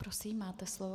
Prosím, máte slovo.